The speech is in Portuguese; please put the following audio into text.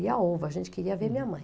a gente queria ver minha mãe.